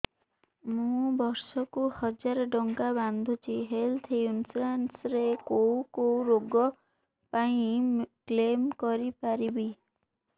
ମୁଁ ବର୍ଷ କୁ ହଜାର ଟଙ୍କା ବାନ୍ଧୁଛି ହେଲ୍ଥ ଇନ୍ସୁରାନ୍ସ ରେ କୋଉ କୋଉ ରୋଗ ପାଇଁ କ୍ଳେମ କରିପାରିବି